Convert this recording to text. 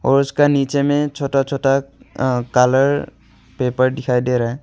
उसका नीचे में छोटा छोटा कलर पेपर दिखाई दे रहा है।